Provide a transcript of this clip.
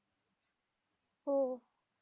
हो